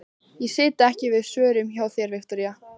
Ég sit ekki fyrir svörum hjá þér, Viktoría.